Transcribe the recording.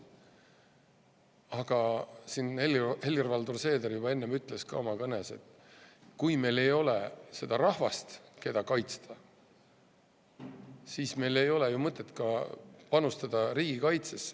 Aga siin Helir-Valdor Seeder juba enne ütles ka oma kõnes, et kui meil ei ole seda rahvast, keda kaitsta, siis meil ei ole ju mõtet ka panustada riigikaitsesse.